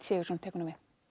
Sigurðsson tekur